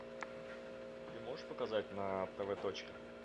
ты можешь показать на тв точка